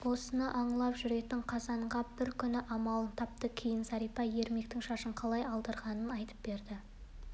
осыны аңлап жүретін қазанғап бір күні амалын тапты кейін зәрипа ермектің шашын қалай алдырғанын айтып берді